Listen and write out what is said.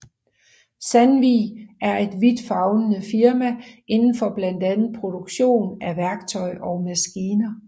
Sandvik er et vidtfavnende firma indenfor blandt andet produktion af værktøj og maskiner